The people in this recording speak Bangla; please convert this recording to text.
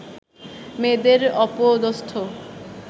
মেয়েদের অপদস্থ